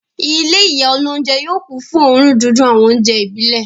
Ilé ìyá olóúnjẹ yóò kún fún òórùn dídùn àwọn oúnjẹ ìbílẹ̀.